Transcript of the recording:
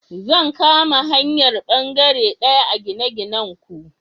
Zan kama hayar bangare daya a gine-ginanku.